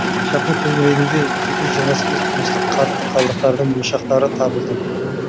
шаһар төңірегінде екі жүз жиырма сегіз тұрмыстық қатты қалдықтардың ошақтары табылды